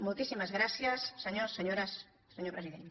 moltíssimes gràcies senyors senyores senyor president